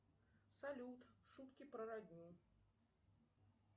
салют шутки про родню